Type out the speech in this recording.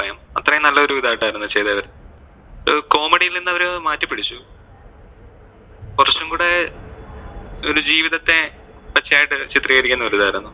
അത്രേം നല്ലൊരു ഇതായിട്ട് ആയിരുന്നു ചെയ്തത്. അവര്, comedy യില്‍ നിന്ന് അവര് മാറ്റിപിടിച്ചു കൊറച്ചുംകൂടെ ഒരു ജീവിതത്തെ പച്ചയായിട്ട് ചിത്രീകരിക്കുന്ന ഒരു ഇതായിരുന്നു.